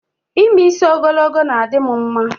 Ime isi ogologo na-adim mma